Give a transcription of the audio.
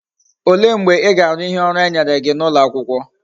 Ole mgbe íga Aru ihe oru enyere gi na ulo akwukwo?